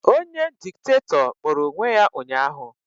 Onye Diktatọ kpọrọ onwe ya ụnyaahụ